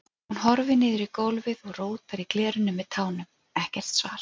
Hún horfir niður í gólfið og rótar í glerinu með tánum, ekkert svar.